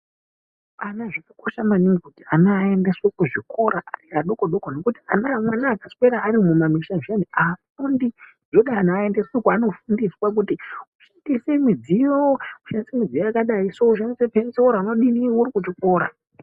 Ana zvakakosha maningi kuti ana aendeswe kuzvikora ari adoko-doko nekuti mwana akaswera arimumamisha zviyani haafundi. Zvooda ana aendeswe kwaanofundiswa kuti kushandise midziyo, kushandise midziyo yakadayi so kushandise penzora, unodini huri kuchikora.